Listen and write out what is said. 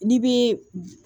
N'i bɛ